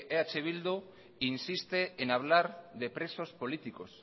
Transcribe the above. eh bildu insiste en hablar de presos políticos